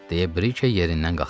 deyə Brikey yerindən qalxdı.